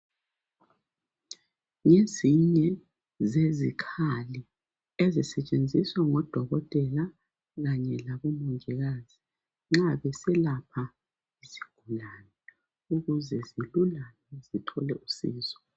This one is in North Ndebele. Ngezinye zezikhali ezisetshenziswa ngodokotela kanye labomongikazi nxa beselapha isigulane ukuze silulame sithole usizo.